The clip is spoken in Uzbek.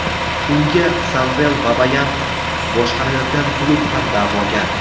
Unga Samvel Babayan boshqarayotgan klub ham da’vogar.